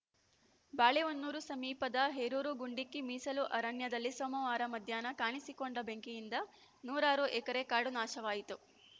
ಬಾಳೆಹೊನ್ನೂರು ಸಮೀಪದ ಹೇರೂರು ಗುಂಡಿಕ್ಕಿ ಮೀಸಲು ಅರಣ್ಯದಲ್ಲಿ ಸೋಮವಾರ ಮಧ್ಯಾಹ್ನ ಕಾಣಿಸಿಕೊಂಡ ಬೆಂಕಿಯಿಂದ ನೂರಾರು ಎಕರೆ ಕಾಡು ನಾಶವಾಯಿತು